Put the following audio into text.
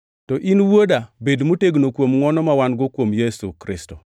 To in, Wuoda, bed motegno kuom ngʼwono ma wan-go kuom Kristo Yesu.